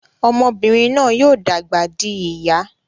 Ọmọbinrin náà yóò dàgbà dì ìyá